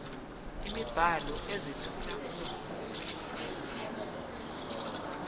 imibhalo ezethula ulwazi